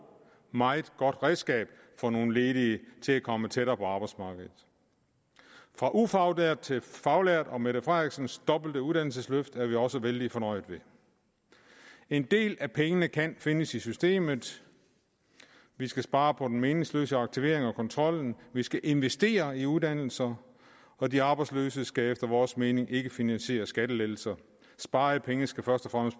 meget godt redskab for nogle ledige til at komme tættere på arbejdsmarkedet fra ufaglært til faglært og beskæftigelsesminister mette frederiksens dobbelte uddannelsesløft er vi også vældig fornøjede ved en del af pengene kan findes i systemet vi skal spare på den meningsløse aktivering og kontrollen vi skal investere i uddannelser og de arbejdsløse skal efter vores mening ikke finansiere skattelettelser sparede penge skal først og